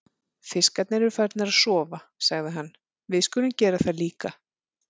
Fiskarnir eru farnir að sofa, sagði hann, við skulum gera það líka.